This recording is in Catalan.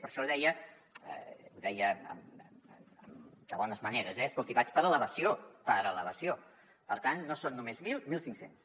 per això deia ho deia de bones maneres eh escolti vaig per elevació per elevació per tant no són només mil mil cinc cents